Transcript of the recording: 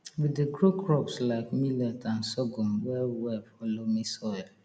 we dey grow crops like millet and sorghum well well for loamy soil